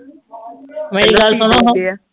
ਮੇਰੀ ਗੱਲ ਸੁਣੋ ਹਾਂ